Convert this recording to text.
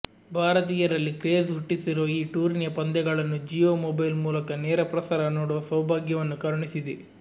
ಭಾರತೀಯರಲ್ಲಿ ಕ್ರೇಜ್ ಹುಟ್ಟಿಸಿರುವ ಈ ಟೂರ್ನಿಯ ಪಂದ್ಯಗಳನ್ನು ಜಿಯೊ ಮೊಬೈಲ್ ಮೂಲಕ ನೇರ ಪ್ರಸಾರ ನೋಡುವ ಸೌಭಾಗ್ಯವನ್ನು ಕರುಣಿಸಿದೆ